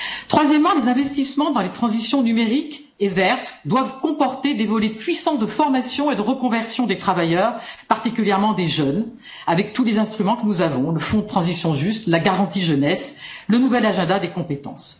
Troisièmement, les investissements dans les transitions numérique et verte doivent comporter des volets puissants de formation et de reconversion des travailleurs, particulièrement des jeunes, avec tous les instruments que nous avons le Fonds pour une transition juste, la garantie pour la jeunesse, la nouvelle stratégie en matière de compétences.